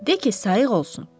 De ki, sayıq olsun.